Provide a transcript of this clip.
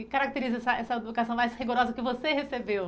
O que caracteriza essa educação mais rigorosa que você recebeu?